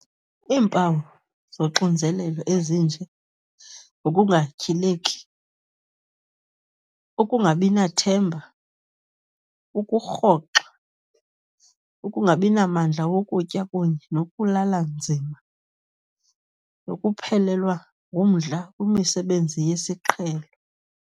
Iimpawu zoxinzelelo, ezinje ngokungatyhileki, ukungabinathemba, ukurhoxa, ukungabinamdla wokutya kunye nokulala nzima, nokuphelelwa ngumdla kwimisebenzi yesiqhelo.